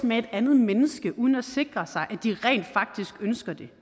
med et andet menneske uden at sikre at de rent faktisk ønsker det